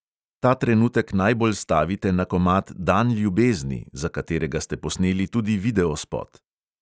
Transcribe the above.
Ta trenutek najbolj stavite na komad "dan ljubezni", za katerega ste posneli tudi videospot.